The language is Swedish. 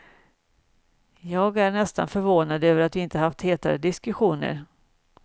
Jag är nästan förvånad över att vi inte haft hetare diskussioner.